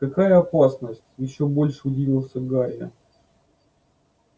какая опасность ещё больше удивился гарри